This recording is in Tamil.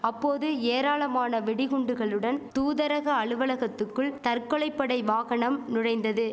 அப்போது ஏராளமான வெடிகுண்டுகளுடன் தூதரக அலுவலகத்துக்குள் தற்கொலை படை வாகனம் நுழைந்தது